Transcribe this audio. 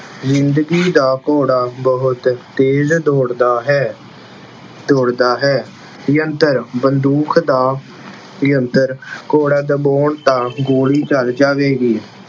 ਜ਼ਿੰਦਗੀ ਦਾ ਘੋੜਾ ਬਹੁਤ ਤੇਜ਼ ਦੌੜਦਾ ਹੈ, ਦੌੜਦਾ ਹੈ। ਯੰਤਰ- ਬੰਦੂਕ ਦਾ ਯੰਤਰ ਘੋੜਾ ਦਬਾਉਣ ਤਾਂ ਗੋਲੀ ਚੱਲ ਜਾਵੇਗੀ।